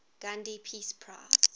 gandhi peace prize